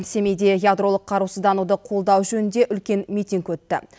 семейде ядролық қарусыздануды қолдау жөнінде үлкен митинг өтті